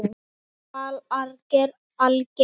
Þetta var alger bilun.